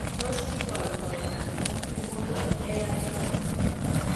Tos kikoitoo uncombable hair syndrome?